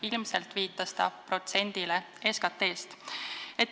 Ilmselt viitas ta protsendile SKT-st.